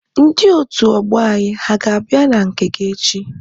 Ndị otu ọgbọ anyị ha a ga-abịa na nke gị echi?